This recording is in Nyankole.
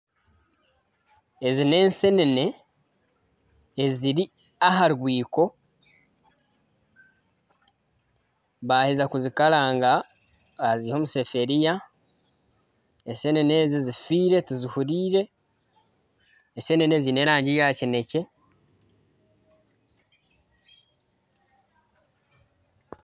Ezi n'ensenene eziri aha rwiiko baheza kuzikaranga baziiha omusefuriya ,ensenene ezi zifiire tizihuriire, ensene ezi ziine erangi ya kinekye